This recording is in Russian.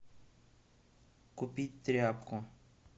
купить тряпку